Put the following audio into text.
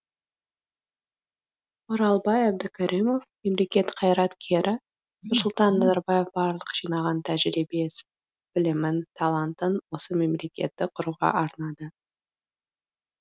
оралбай әбдікәрімов мемлекет қайраткері нұрсұлтан назарбаев барлық жинаған тәжірибесін білімін талантын осы мемлекетті құруға арнады